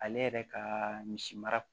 Ale yɛrɛ ka misi mara